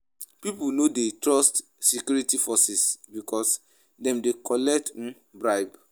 Pipo no de trust security forces because dem de collect um bribe